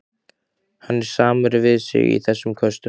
Hann er samur við sig í þessum köstum!